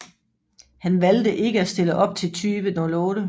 Han valgte ikke at stille op til 2008